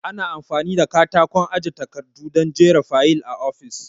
Ana amfani da katakon aje takardu don jera fayil a ofis